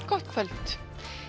gott kvöld